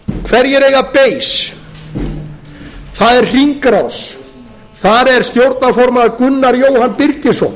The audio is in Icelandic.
hverjir eiga base það er hringrás þar er stjórnarformaður gunnar jóhann birgisson